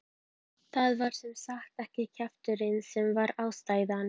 Það var sem sagt ekki kjafturinn sem var ástæðan.